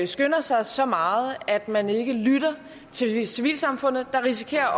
skynder sig så meget at man ikke lytter til civilsamfundet man risikerer